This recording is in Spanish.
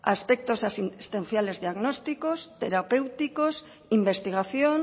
aspectos existenciales diagnósticos terapéuticos investigación